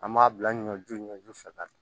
An m'a bila ɲɔju ɲɔju fɛ